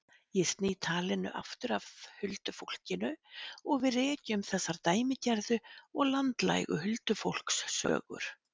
Ég sný talinu aftur að huldufólkinu og við rekjum þessar dæmigerðu og landlægu huldufólkssögur.